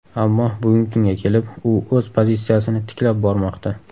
Ammo bugungi kunga kelib, u o‘z pozitsiyasini tiklab bormoqda.